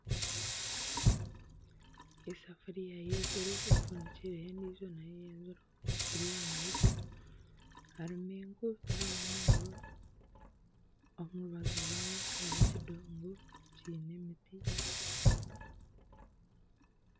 Esafuriya y'enziro efundikyireho endijo nayo y'enziro biri aha mahega harimu enku tiharumu muriro omu rubaju rwayo hariho ekidongo.